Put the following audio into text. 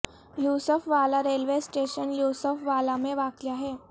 یوسف Wala railway station Yousaf Wala میں واقع ہے